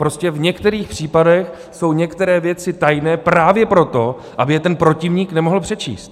Prostě v některých případech jsou některé věci tajné právě proto, aby je ten protivník nemohl přečíst.